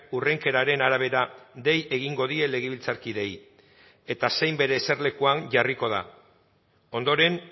hurrenkeraren arabera dei egingo die legebiltzarkideei eta zein bere eserlekuan jarriko da ondoren